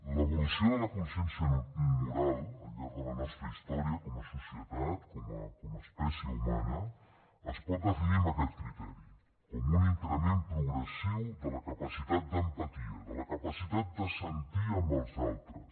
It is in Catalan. l’evolució de la consciència moral al llarg de la nostra història com a societat com a espècie humana es pot definir amb aquest criteri com un increment progressiu de la capacitat d’empatia de la capacitat de sentir amb els altres